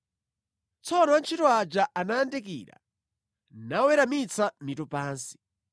Tsono antchito aja anayandikira naweramitsa mitu pansi.